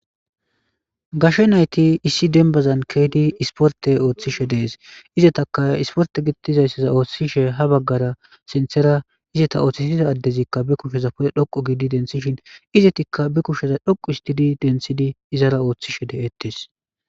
Gashe naythi issi dembbazan keyizi isipporththe ooththishe de7ees; izethakka isipporththe giththi zayssiza oothisishe ha baggara sinththera izetha oothisize addethizikka be kusheza pude dhoqqu gizi denththishen izethikka be kushe dhoqqu ooththidi denththidi izaaza ooththishee de7eeththees.